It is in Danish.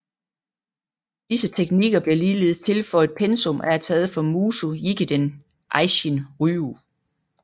Disse teknikker blev ligeledes tilføjet pensum og er taget fra Muso Jikiden Eishin Ryu